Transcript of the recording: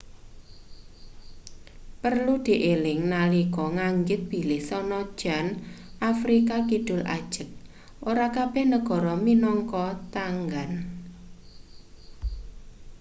prelu dieling nalika nganggit bilih sanajan afrika kidul ajeg ora kabeh negara minangka tanggan